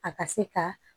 A ka se ka